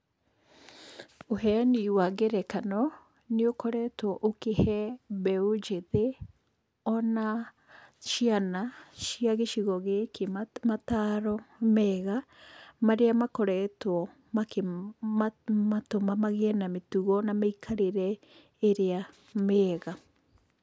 Ũheyani wa ngerekano, nĩ ũkoretwo ũkĩhe mbeũ njĩthĩ, ona ciana cia gĩcigo gĩkĩ mataro mega marĩa makoretwo makĩmatũma magĩe na mĩtugo na mĩikarĩre ĩrĩa mĩega.